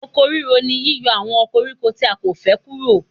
Oko ríro ni yíyọ àwọn koríko tí a kò fẹ́ kúrò.